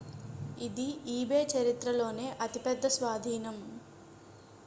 ఇది ebay చరిత్రలోనే అతి పెద్ద స్వాధీనం